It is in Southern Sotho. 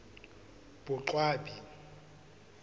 boqwabi